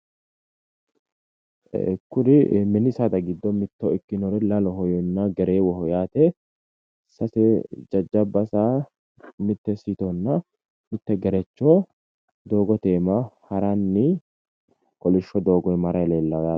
Kuri mini saada giddo mitto ikkinori lalohonna gereewoho yaate sase jajjabba saa mitte siitonna mitte gerecho doogote iima haranni kolishsho doogo aana haranni no yaate.